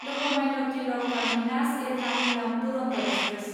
Lokmanya Tilak terminus Ernakulam Duronto express